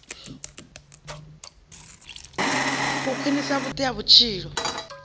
u khwinisa vhudi ha vhutshilo